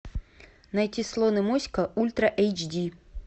найти слон и моська ультра эйч ди